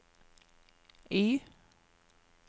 Y